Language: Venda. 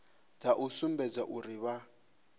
dza u sumbedza uri vha